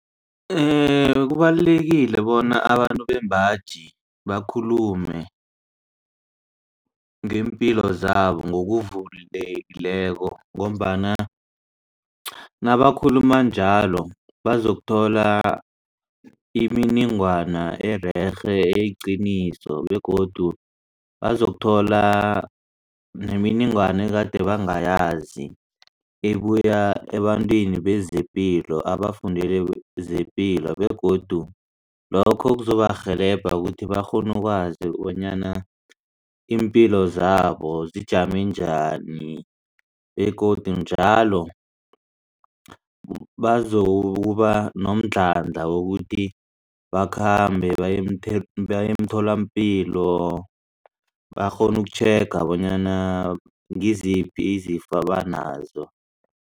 Kubalulekile bona abantu bembaji bakhulume ngeempilo zabo ngokuvulekileko ngombana nabakakhuluma njalo bazokuthola imininingwana ererhe eyiqiniso begodu bazokuthola nemininingwana egade bangayazi ebuya ebantwini bezepilo abafundele zepilo begodu lokho kuzobarhelebha ukuthi bakghone ukwazi bonyana iimpilo zabo zijame njani begodu njalo bazokuba nomdlandla wokuthi bakhambe baye emtholampilo bakghone ukutjhega bonyana ngiziphi izifo abanazo.